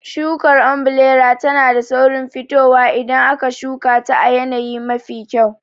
Shukar ombirela tana da saurin fitowa idan aka shuka ta a yanayi mafi kyau.